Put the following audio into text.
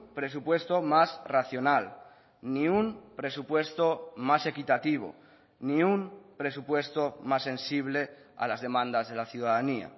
presupuesto más racional ni un presupuesto más equitativo ni un presupuesto más sensible a las demandas de la ciudadanía